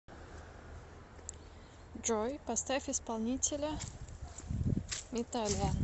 джой поставь исполнителя металиан